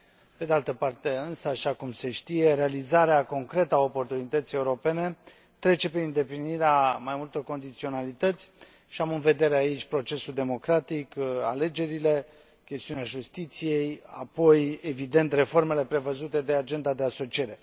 Pe de altă parte însă, așa cum se știe, realizarea concretă a oportunității europene trece prin îndeplinirea mai multor condiționalități și am în vedere aici procesul democratic, alegerile, chestiunea justiției, apoi, evident, reformele prevăzute de Agenda de asociere.